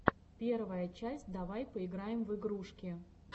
первая часть давай поиграем в игрушки